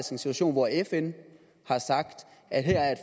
situation hvor fn har sagt at her er